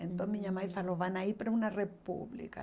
Hum... Então minha mãe falou, vão a ir para uma república.